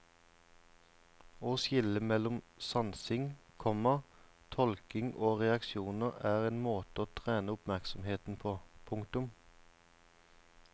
Å skille mellom sansing, komma tolkning og reaksjoner er en måte å trene oppmerksomheten på. punktum